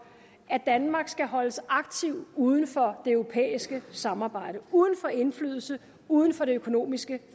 at danmark skal holdes aktivt uden for det europæiske samarbejde uden for indflydelse uden for det økonomiske